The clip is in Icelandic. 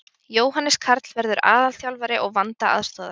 Jóhannes Karl verður aðalþjálfari og Vanda aðstoðar.